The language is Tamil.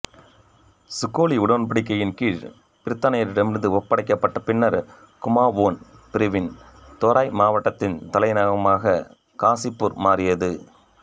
சுகோலி உடன்படிக்கையின் கீழ் பிரித்தானியரிடம் ஒப்படைக்கப்பட்ட பின்னர் குமாவோன் பிரிவின் தெராய் மாவட்டத்தின் தலைமையகமாக காசிபூர் மாறியது